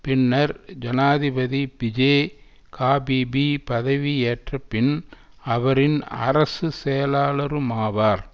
பின்னர் ஜனாதிபதி பிஜே காபீபி பதவியேற்ற பின் அவரின் அரசு செயலாளருமாவார்